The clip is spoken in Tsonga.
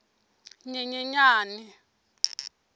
nyenyenyane